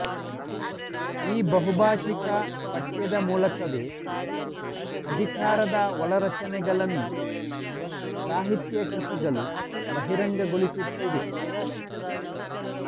ಈ ಬಹುಭಾಷಿಕ ಪಠ್ಯದ ಮೂಲಕವೇ ಅಧಿಕಾರದ ಒಳರಚನೆಗಳನ್ನು ಸಾಹಿತ್ಯ ಕೃತಿಗಳು ಬಹಿರಂಗಗೊಳಿಸುತ್ತಿವೆ